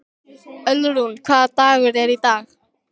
Ölrún, hvaða dagur er í dag?